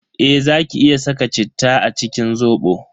Eh zaki iya saka citta a cikin Zobo.